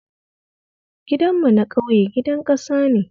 Gidanmu na ƙauye gidan ƙasa ne